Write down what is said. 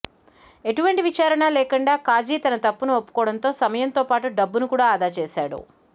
ఎటువంటి విచారణ లేకుండా కాజీ తన తప్పును ఒప్పుకోవడంతో సమయంతో పాటు డబ్బును కూడా ఆదా చేశాడు